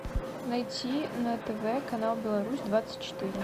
найти на тв канал беларусь двадцать четыре